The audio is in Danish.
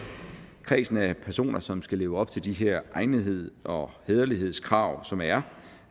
kredsen af personer som skal leve op til de her egnetheds og hæderlighedskrav som er